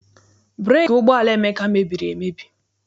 Breeki ụgbọala Emeka mebiri emebi.